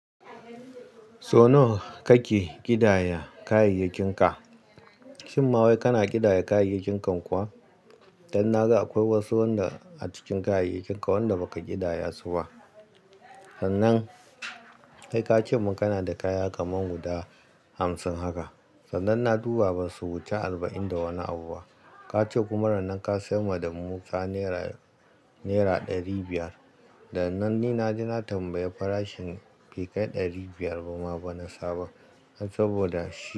So nawa kake ƙidaya kayayyakinka? Shim mawai kana ƙidaya kayayyakinka kuwa? Dan na ga akwai wasu a cikin kayayyakinka wanda baka ƙidaya su ba. Sannan kai ka ce mun kana da kaya kaman guda hamsin haka sannan na duba basu wuce arba'in da wani abu ba. Ka ce kuma ranan ka sayar mana da mu ka nera ɗari biyar. Dan nan ni na je na tambayi farashin bekai ɗari biyar ba ma bana sabon. Saboda shi.